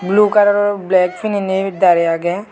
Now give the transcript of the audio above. blue kalaror black pininey darey agey.